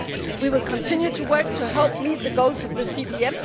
We will continue to work to help meet the goals of the CVM.